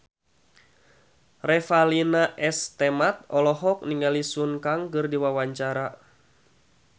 Revalina S. Temat olohok ningali Sun Kang keur diwawancara